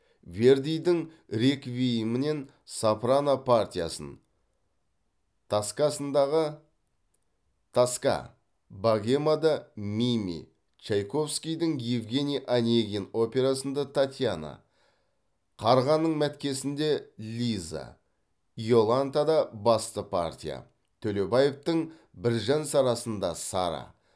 вердидің реквиемінен сопрано партиясын тоскасындағы тоска богемада мими чайковскийдің евгений онегин операсында татьяна қарғаның мәткесінде лиза иолантада басты партия төлебаевтың біржан сарасында сара